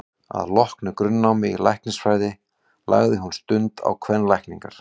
Að loknu grunnnámi í læknisfræði lagði hún stund á kvenlækningar.